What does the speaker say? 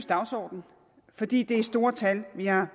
dagsorden fordi det er store tal vi har